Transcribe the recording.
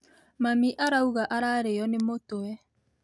Mami arauga ararĩo nĩ mũtwe